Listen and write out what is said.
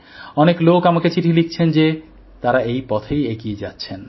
অনেক লোক আমাকে চিঠি লিখছেন যে তারা এই পথেই এগিয়ে যাচ্ছেন